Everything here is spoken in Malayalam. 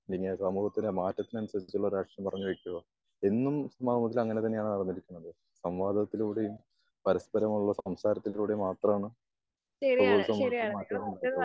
പിന്നെ സമൂഹത്തിന് മാറ്റത്തിന് അനുസരിച്ചുള്ള രാഷ്ട്രീയം പറഞ്ഞു വെക്കുക. എന്നും സമൂഹത്തിൽ അങ്ങനെ തന്നെ ആണ് അവതരിക്കുന്നത്. സംവാദത്തിലൂടെയും പരസ്പര മുള്ള സംസാരത്തിലൂടെ മാത്രാണ് സമൂഹത്തിൽ മാറ്റങ്ങൾ ഉൾകൊള്ളുന്നത്.